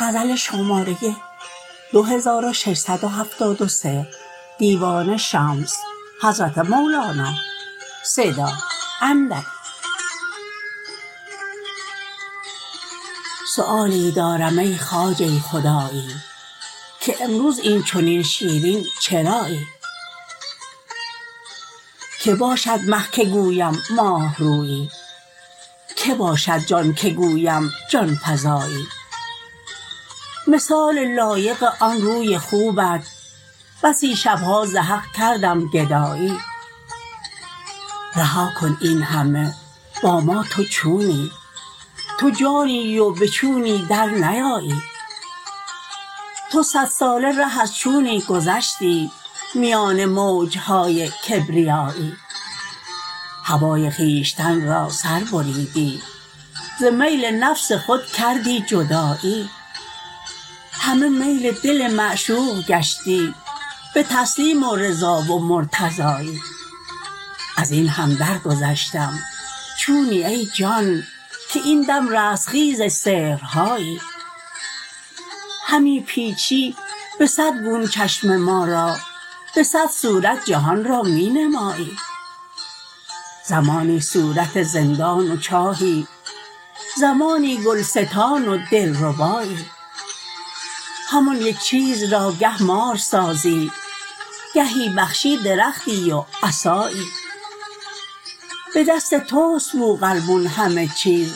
سؤالی دارم ای خواجه خدایی که امروز این چنین شیرین چرایی کی باشد مه که گویم ماه رویی کی باشد جان که گویم جان فزایی مثالی لایق آن روی خوبت بسی شب ها ز حق کردم گدایی رها کن این همه با ما تو چونی تو جانی و به چونی درنیایی تو صدساله ره از چونی گذشتی میان موج های کبریایی هوای خویشتن را سر بریدی ز میل نفس خود کردی جدایی همه میل دل معشوق گشتی به تسلیم و رضا و مرتضایی از این هم درگذشتم چونی ای جان که این دم رستخیز سحرهایی همی پیچی به صد گون چشم ما را به صد صورت جهان را می نمایی زمانی صورت زندان و چاهی زمانی گلستان و دلربایی همان یک چیز را گه مار سازی گهی بخشی درختی و عصایی به دست توست بوقلمون همه چیز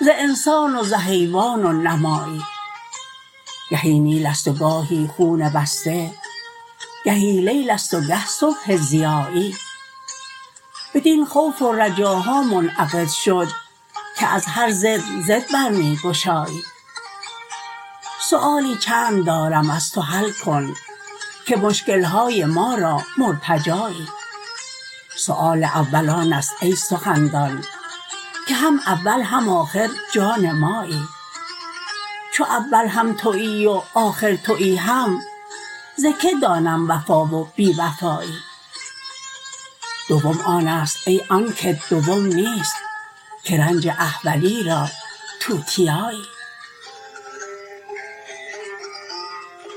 ز انسان و ز حیوان و نمایی گهی نیل است و گاهی خون بسته گهی لیل است و گه صبح ضیایی بدین خوف و رجاها منعقد شد که از هر ضد ضد بر می گشایی سؤالی چند دارم از تو حل کن که مشکل های ما را مرتجایی سؤال اول آن است ای سخندان که هم اول هم آخر جان مایی چو اول هم توی و آخر توی هم ز کی دانم وفا و بی وفایی دوم آن است ای آن کت دوم نیست که رنج احولی را توتیایی